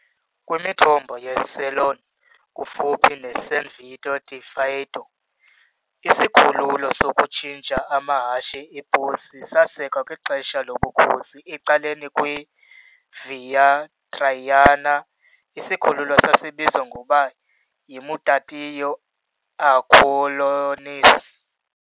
Kwimithombo yeCelone, kufuphi neSan Vito di Faeto, isikhululo sokutshintsha amahashe eposi sasekwa kwixesha lobukhosi ecaleni kwe- Via Traiana, isikhululo sasibizwa ngokuba "yimutatio Aquilonis" .